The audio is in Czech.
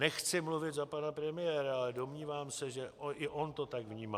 Nechci mluvit za pana premiéra, ale domnívám se, že i on to tak vnímá.